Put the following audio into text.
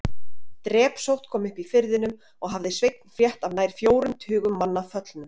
Drepsótt kom upp í firðinum og hafði Sveinn frétt af nær fjórum tugum manna föllnum.